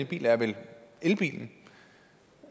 biler er vel elbilen